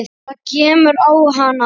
Það kemur á hana.